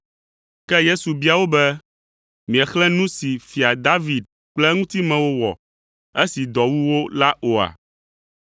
Ke Yesu bia wo be, “Miexlẽ nu si Fia David kple eŋutimewo wɔ esi dɔ wu wo la oa?